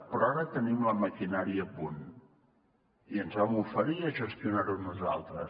però ara tenim la maquinària a punt i ens vam oferir a gestionar ho nosaltres